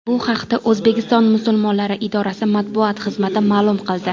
Bu haqda O‘zbekiston musulmonlari idorasi matbuot xizmati ma’lum qildi .